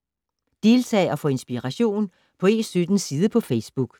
Deltag og få inspiration på E17s side på Facebook